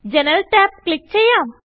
Generalടാബ് click ചെയ്യാം